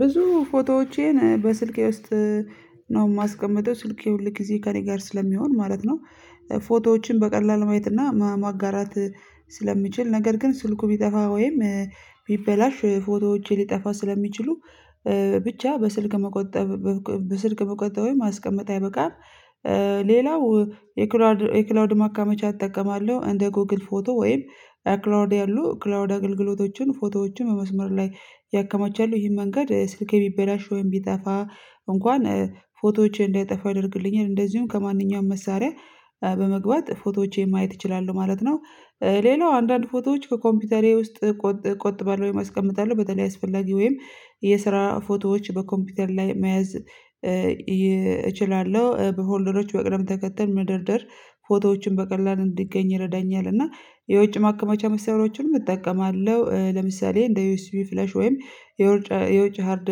ብዙ ፎቶዎቼን በስልኬ ውስጥ ነው የማስቀምጠው ስልኬ ሁል ጊዜ ከእኔ ጋር ስለሚሆን ማለት ነው። ፎቶዎችን በቀላሉ ማየት እና ማጋራት ስለምችል ነገር ግን ስልኩ ቢጠፋ ወይም ቢበላሽ ፎቶዎቼ ሊጠፋ ስለሚችሉ ብቻ በስልክ መቆጠብ በስልክ መቆጠብ ወይ ማስቀመጥ አይበቃም። ሌላው የክላውድ የክላውድ ማከማቻ እጠቀማለሁ እንደ ጎግል ፎቶ ወይም ክላዉድ ያሉ ክላዉድ አገልግሎቶችን ፎቶዎችን በመስመር ላይ ያከማቻሉ ይህም መንገድ ስልኬ ቢበላሽ ወይም ቢጠፋ እንኳን ፎቶዎችን እንዳይጠፋ ያደርግልኛል እንደዚሁም ከማንኛውም መሳሪያ በመግባት ፎቶዎቼን ማየት እችላሁ ማለት ነው። ሌላው አንዳንድ ፎቶዎች ከኮምፒውተሬ ውስጥ ቆጥባለው ቆጥባለው ወይም አስቀምጠዋለሁ በተለይ አስፈላጊ ወይም የስራ ፎቶዎች በኮምፒውተር ላይ መያዝ እችላለሁ በሆልደሮች በቅደም ተከተል መደርደር ፎቶዎችን በቀላሉ እንዲገኝ ይረዳኛል። እና የውጭ ማከመቻ መስመሮችንም እጠቀማለሁ ለምሳሌ እንደ ዩኤስቢ ፍሌሽ ወይም የውጭ የውጭ ሃርድ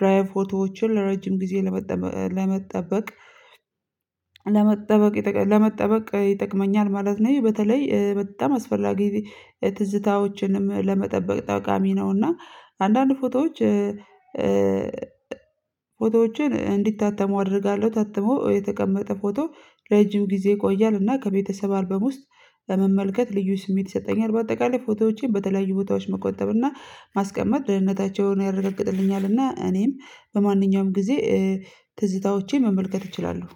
ድራይቭ ፎቶዎችን ለረጅም ጊዜ ለመጠበቅ ለመጠበቅ ለመጠበቅ ይጠቅመኛል ማለት ነው። በተለይ በጣም አስፈላጊ ትዝታዎችንም ለመጠበቅ ጠቃሚ ነውና አንዳንድ ፎቶዎች ፎቶዎችን እንዲታተሙ አደርጋለሁ ታትሞ የተቀመጠ ፎቶ ረጅም ጊዜ ይቆያል እና ከቤተሰብ አልበም ውስጥ በመመልከት ልዩ ስሜት ይሰጠኛል። በአጠቃላይ ፎቶዎቼን በተለያዩ ቦታዎች መቆጠብ እና ማስቀመጥ ደህንነታቸውን ያረገጥልኛል እና እኔም በማንኛውም ጊዜ ትዝታዎቼን መመልከት እችላለሁ።